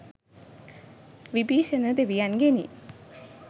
Vibhishana දෙවියන්ගෙනි.